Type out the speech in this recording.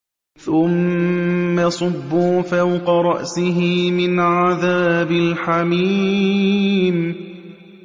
ثُمَّ صُبُّوا فَوْقَ رَأْسِهِ مِنْ عَذَابِ الْحَمِيمِ